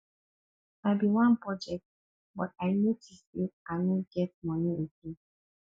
i bin wan budget but i notice say i no get money again